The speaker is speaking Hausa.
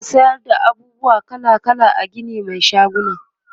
ana sayar da abubuwa kala kala a Gini Mai shaguna